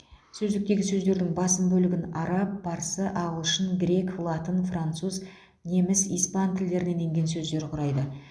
сөздіктегі сөздердің басым бөлігін араб парсы ағылшын грек латын француз неміс испан тілдерінен енген сөздер құрайды